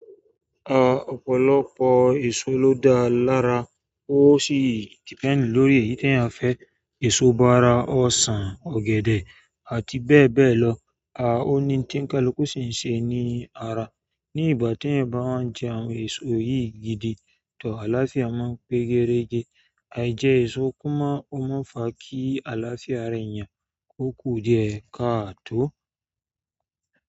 À ọ̀pọ̀lọpọ̀ èso ló dáa lára. Ó sì depend lórí èyí teeyan fẹ́. Èso bára, ọsàn, ọ̀gẹ̀dẹ̀ àti bẹ́ẹ̀ bẹ́ẹ̀ lọ. A o ni ohun kaluku si n se ni ara. Ni ìgbà teeyan n bá wa n jẹ àwọn èso yìí gidi, tọ́ àlàáfíà máa ń pé gerege. Aì jẹ èso kó máa o maa n fá kí àlàáfíà ara eeyan ó kú díẹ̀ káà tó?